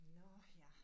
Nåh ja